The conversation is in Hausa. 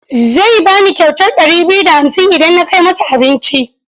Zai ba ni kyautar ɗari biyu da hamsin idan na kai masa abinci.